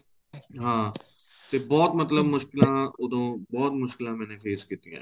ਹਾਂ ਤੇ ਬਹੁਤ ਮਤਲਬ ਮੁਸ਼ਕਿਲਾ ਉਹਦੋ ਬਹੁਤ ਮੁਸ਼ਕਿਲਾ ਮੈਨੇ face ਕੀਤੀਆ ਏ